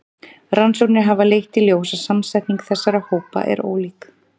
Rannsóknir hafa leitt í ljós að samsetning þessara hópa er ólík.